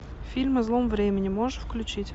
фильм о злом времени можешь включить